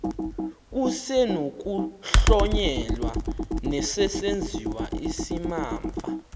kusenokuhlonyelwa nesesenziwa isimamva